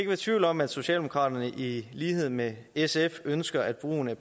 være tvivl om at socialdemokraterne i lighed med sf ønsker at brugen af